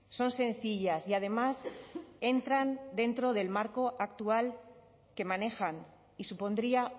son sencillas y además entran dentro del marco actual que manejan y supondría